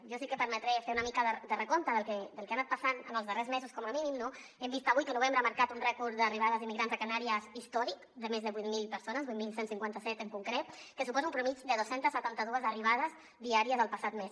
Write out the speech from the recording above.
jo sí que em permetré fer una mica de recompte del que ha anat passant en els darrers mesos com a mínim no hem vist avui que novembre ha marcat un rècord d’arribades d’immigrants a canàries històric de més de vuit mil persones vuit mil cent i cinquanta set en concret que suposa una mitjana de dos cents i setanta dos arribades diàries el passat mes